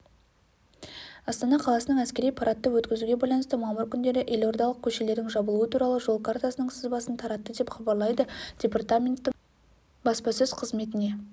астана қаласының әскери парадты өткізуге байланысты мамыр күндері елордалық көшелердің жабылуы туралы жол картасының сызбасын таратты деп хабарлайды департаменттің баспасөз қызметіне